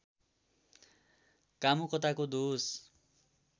कामुकताको दोष